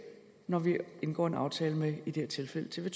når vi indgår en aftale med i det her tilfælde tv